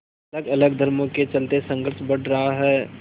अलगअलग धर्मों के चलते संघर्ष बढ़ रहा है